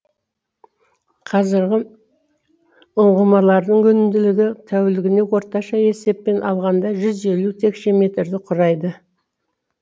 қазіргі ұңғымалардың өнімділігі тәулігіне орташа есеппен алғанда жүз елу текше метрді құрайды